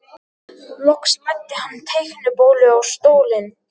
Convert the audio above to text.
Loks læddi hann teiknibólu á stólinn.